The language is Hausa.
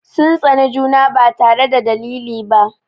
Sun tsane juna ba tare da dalili ba.